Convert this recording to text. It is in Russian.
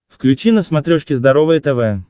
включи на смотрешке здоровое тв